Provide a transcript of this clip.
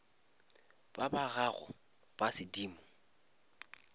ba ba gago ba sedimo